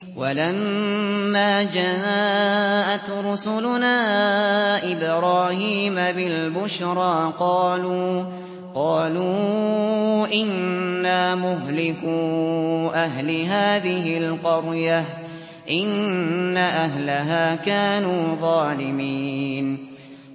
وَلَمَّا جَاءَتْ رُسُلُنَا إِبْرَاهِيمَ بِالْبُشْرَىٰ قَالُوا إِنَّا مُهْلِكُو أَهْلِ هَٰذِهِ الْقَرْيَةِ ۖ إِنَّ أَهْلَهَا كَانُوا ظَالِمِينَ